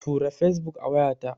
Tura Fesbuk a wayata.